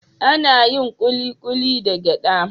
Ana yin Kulikuli daga gyada.